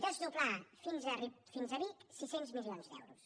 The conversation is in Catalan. desdoblar la fins a vic sis cents milions d’euros